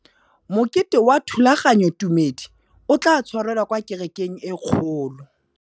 Mokete wa thulaganyôtumêdi o tla tshwarelwa kwa kerekeng e kgolo.